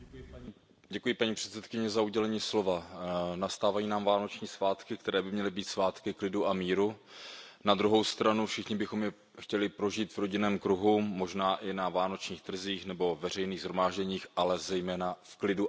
Paní předsedající, nastávají nám vánoční svátky, které by měly být svátky klidu a míru. Na druhou stranu bychom je všichni chtěli prožít v rodinném kruhu, možná i na vánočních trzích nebo veřejných shromážděních, ale zejména v klidu a bezpečí.